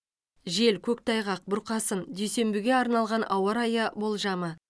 жел көктайғақ бұрқасын дүйсенбіге арналған ауа райы болжамы